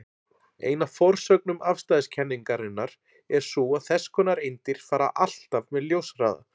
Ein af forsögnum afstæðiskenningarinnar er sú að þess konar eindir fara alltaf með ljóshraða.